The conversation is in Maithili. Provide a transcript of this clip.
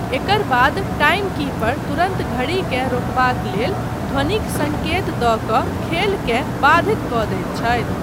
एकर बाद टाइमकीपर तुरन्त घड़ीकेँ रोकबाक लेल ध्वनिक सङ्केत दऽ कऽ खेलकेँ बाधित कऽ दैत छथि।